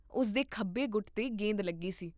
ਉਸ ਦੇ ਖੱਬੇ ਗੁੱਟ 'ਤੇ ਗੇਂਦ ਲੱਗੀ ਸੀ